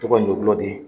Tɔgɔ in ɲɔgulɔ de